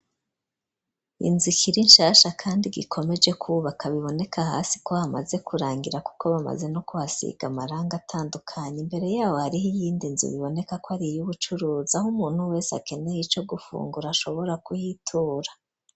Inzu ikirinshasha kandi ikomeje kubaka ,biboneka hasi ko hamaze kurangira kuko bamaze no kuhasiga amarangi atandukanye, imbere yabo hariho iyindi nzu biboneka ko ari iyubucuruzi aho umuntu wese akeneye ico gufungura ashobora kuhitura.